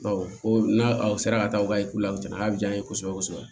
n'a aw sera ka taa u ka la u nana diya n ye kosɛbɛ kosɛbɛ